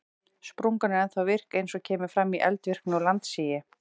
Sprungan er ennþá virk eins og kemur fram í eldvirkni og landsigi.